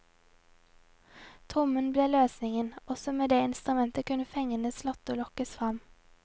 Trommen ble løsningen, også med det instrumentet kunne fengende slåtter lokkes frem.